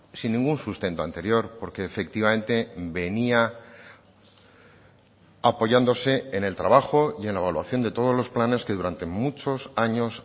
sin ningún sustento anterior porque efectivamente venía apoyándose en el trabajo y en la evaluación de todos los planes que durante muchos años